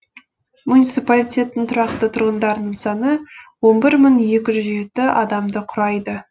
муниципалитеттің тұрақты тұрғындарының саны он бір мың екі жүз жеті адамды құрайды